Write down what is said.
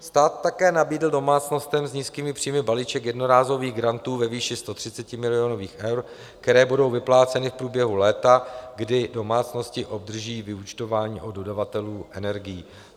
Stát také nabídl domácnostem s nízkými příjmy balíček jednorázových grantů ve výši 130 milionových (?) eur, které budou vypláceny v průběhu léta, kdy domácnosti obdrží vyúčtování od dodavatelů energií.